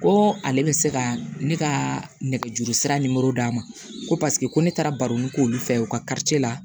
Ko ale bɛ se ka ne ka nɛgɛjuru sira d'a ma ko paseke ko ne taara baroni k'olu fɛ u ka la